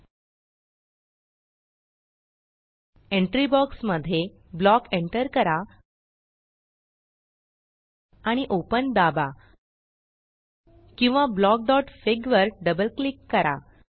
entry entry box मध्ये block block enter करा आणि ओपन ओपन दाबा किंवा blockफिग ब्लॉकफिग वर डबल क्लिक करा